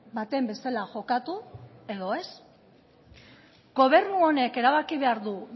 baten bezala jokatu edo ez gobernu honek erabaki behar du